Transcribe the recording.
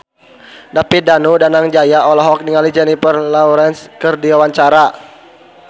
David Danu Danangjaya olohok ningali Jennifer Lawrence keur diwawancara